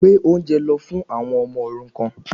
Gbé oúnjẹ lọ fún àwọn ọmọ òrukan